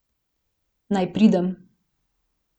Naj pridem.